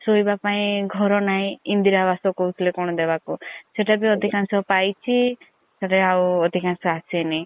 ସୋଇବା ପାଇଁ ଘର ନାହିଁ ଇନ୍ଦିରା ଆବାସ୍ କଣ କହୁଥିଲେ ଦବା ପାଇଁ ସେତା ବି ଅଧିକାଂଶ ପାଇଚି ଆଉ ଅଧିକାଂଶ ଆସିନି।